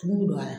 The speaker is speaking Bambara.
Tumu bɛ don a la